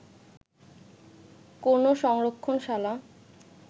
কোনো সংরক্ষণশালা